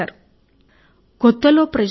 ప్రజలు ఆనందంగా ఉన్నారు